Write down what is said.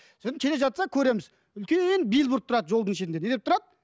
содан келе жатса көреміз үлкен бильборд тұрады жолдың шетінде не деп тұрады